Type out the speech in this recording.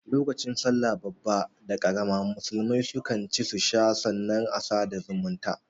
Lokacin sallah babba da karama musulmai su kan ci su sha sannan a sada da zumunta